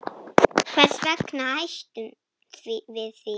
Hvers vegna hættum við því?